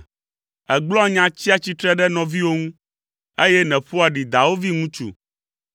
Ègblɔa nya tsia tsitre ɖe nɔviwò ŋu, eye nèƒoa ɖi dawòvi ŋutsu.